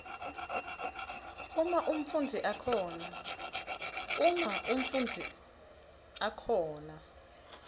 uma umfundzi akhona